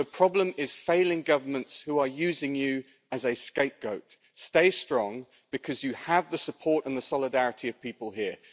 The problem is failing governments who are using you as a scapegoat. Stay strong, because you have the support in the solidarity of people here.